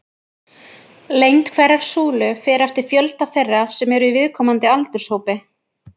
Lengd hverrar súlu fer eftir fjölda þeirra sem eru í viðkomandi aldurshópi.